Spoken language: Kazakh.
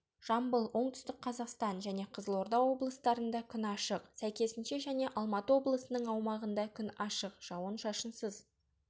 жамбыл оңтүстік қазақстан және қызылорда облыстарында күн ашық сәйкесінше және алматы облысының аумағында күн ашық жауын-шашынсыз